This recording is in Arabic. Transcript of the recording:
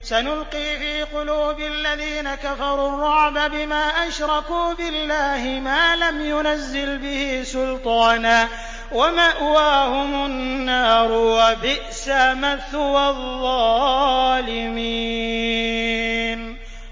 سَنُلْقِي فِي قُلُوبِ الَّذِينَ كَفَرُوا الرُّعْبَ بِمَا أَشْرَكُوا بِاللَّهِ مَا لَمْ يُنَزِّلْ بِهِ سُلْطَانًا ۖ وَمَأْوَاهُمُ النَّارُ ۚ وَبِئْسَ مَثْوَى الظَّالِمِينَ